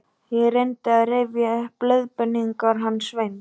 Ég reyndi að rifja upp leiðbeiningarnar hans Sveins